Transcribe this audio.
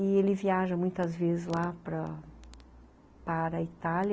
E ele viaja muitas vezes lá para para a Itália.